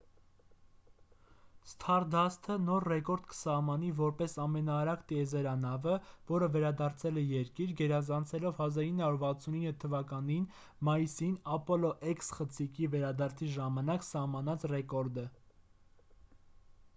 սթարդասթը նոր ռեկորդ կսահմանի որպես ամենաարագ տիեզերանավը որը վերադարձել է երկիր գերազանցելով 1969 թ մայիսին ապոլո x խցիկի վերադարձի ժամանակ սահմանած ռեկորդը